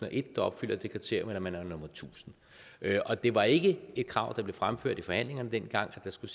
og en der opfylder det kriterium eller man er nummer tusind og det var ikke et krav der blev fremført i forhandlingerne dengang at der skulle